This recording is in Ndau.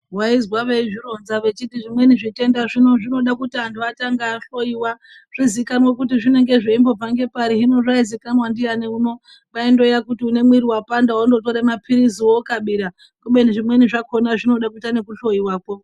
Vaizwa veizvironza vechiti zvimweni zvitenda zvino zvinoda kuti vantu vatange vahloiwa. Zvizikanwe kuti zvinoga zveimbobva nepari zvino zvaizikanwa ndiani uno. Kwaingova kuti ane mwiri vapanda vandotire maphirizi vokabira. Kubeni zvimweni zvakona zvinoda kuita nekuhlowako.